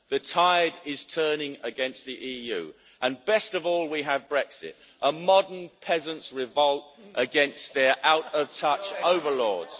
The tide is turning against the EU, and best of all, we have Brexit a modern Peasants' Revolt against their out of touch overlords.